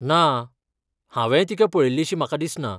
ना, हांवेंय तिका पळयिल्लीशी म्हाका दिसना.